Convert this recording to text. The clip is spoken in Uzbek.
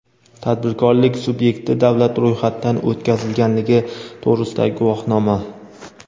tadbirkorlik sub’ekti davlat ro‘yxatidan o‘tkazilganligi to‘g‘risidagi guvohnoma;.